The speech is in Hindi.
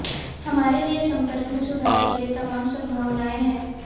हमारे लिए संपर्क में सुधार के लिए तमाम संभावनाएं हैं